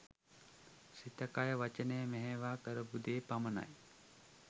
සිත කය වචනය මෙහෙයවා කරපු දේ පමණයි.